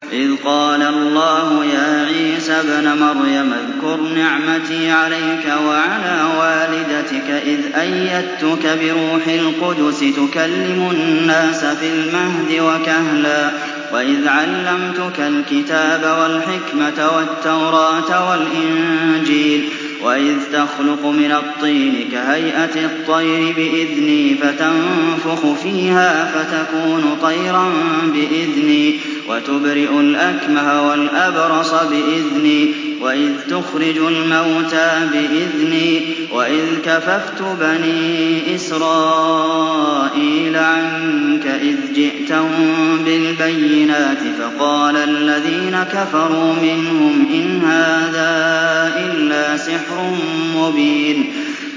إِذْ قَالَ اللَّهُ يَا عِيسَى ابْنَ مَرْيَمَ اذْكُرْ نِعْمَتِي عَلَيْكَ وَعَلَىٰ وَالِدَتِكَ إِذْ أَيَّدتُّكَ بِرُوحِ الْقُدُسِ تُكَلِّمُ النَّاسَ فِي الْمَهْدِ وَكَهْلًا ۖ وَإِذْ عَلَّمْتُكَ الْكِتَابَ وَالْحِكْمَةَ وَالتَّوْرَاةَ وَالْإِنجِيلَ ۖ وَإِذْ تَخْلُقُ مِنَ الطِّينِ كَهَيْئَةِ الطَّيْرِ بِإِذْنِي فَتَنفُخُ فِيهَا فَتَكُونُ طَيْرًا بِإِذْنِي ۖ وَتُبْرِئُ الْأَكْمَهَ وَالْأَبْرَصَ بِإِذْنِي ۖ وَإِذْ تُخْرِجُ الْمَوْتَىٰ بِإِذْنِي ۖ وَإِذْ كَفَفْتُ بَنِي إِسْرَائِيلَ عَنكَ إِذْ جِئْتَهُم بِالْبَيِّنَاتِ فَقَالَ الَّذِينَ كَفَرُوا مِنْهُمْ إِنْ هَٰذَا إِلَّا سِحْرٌ مُّبِينٌ